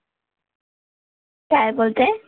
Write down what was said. काय बोलते?